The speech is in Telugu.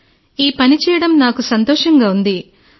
శిరీష ఈ పని చేయడం నాకు సంతోషంగా ఉంది